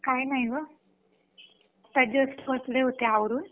काही नाही ग जस्ट अवरून बसले होते